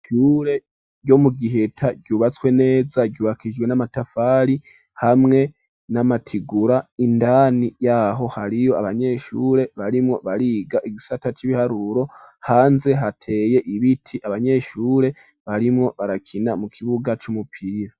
Ishure ryo mu Giheta ryubatswe neza ryubakishijwe n'amatafari hamwe n'amatigura indani yaho hariyo abanyeshure barimo bariga igisata c'ibiharuro hanze hateye ibiti abanyeshure barimo barakina mu kibuga c'umupira.